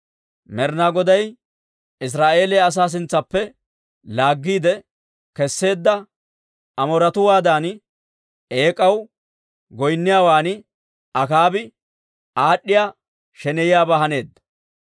Med'inaa Goday Israa'eeliyaa asaa sintsaappe laaggiide kesseedda Amooretuwaadan eek'aw goynniyaawan Akaabi aad'd'iyaa sheneyiyaabaa haneedda.